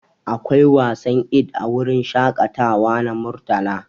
Akwai wasan Eid a wurin shakatawa na Murtala.